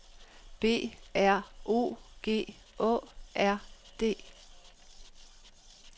B R O G A A R D